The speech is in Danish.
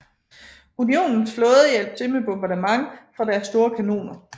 Unionens flåde hjalp til med bombardement fra deres store kanoner